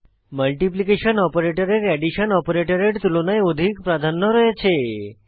multiplication operator এর addition operator এর তুলনায় অধিক প্রাধান্য রয়েছে